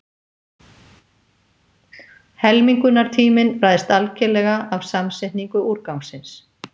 Helmingunartíminn ræðst algerlega af samsetningu úrgangsins.